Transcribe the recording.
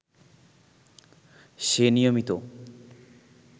সে নিয়মিত